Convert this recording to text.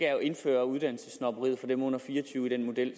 indføre uddannelsessnobberi for dem under fire og tyve